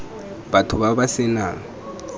batho ba ba se nang